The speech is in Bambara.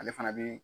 Ale fana bi